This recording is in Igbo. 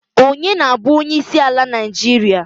Ọnye na-bụ onyeisiala Naijiria?